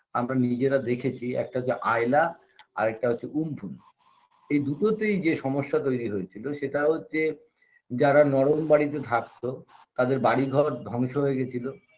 আমরা নিজেরা দেখেছি একটা হচ্ছে আয়লা আরেকটা হচ্ছে উম্ফুন এ দুটোতেই যে সমস্যা তৈরি হয়েছিল সেটা হচ্ছে যারা নরম বাড়িতে থাকত তাদের বাড়ি ঘর ধ্বংস হয়ে গেছিল